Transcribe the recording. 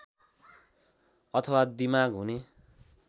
अथवा दिमाग हुने